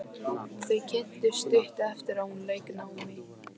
Þau kynntust stuttu eftir að hún lauk námi.